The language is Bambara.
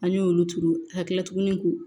An y'olu turu hakilin k'u